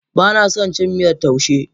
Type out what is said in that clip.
Bana son cin miyar taushe.